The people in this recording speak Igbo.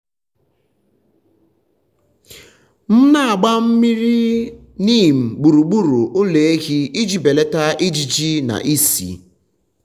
m na-agba mmiri neem gburugburu ụlọ ehi iji belata ijiji na ísì.